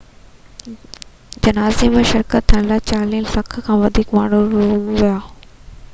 جنازي ۾ شريڪ ٿيڻ لاءِ چاليهہ لک کان وڌيڪ ماڻهو روم ويا